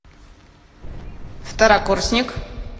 второкурсник